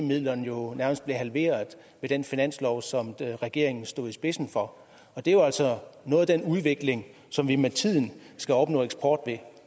midlerne jo nærmest blev halveret i den finanslov som regeringen stod i spidsen for det er altså noget af den udvikling som vi med tiden skal opnå eksport ved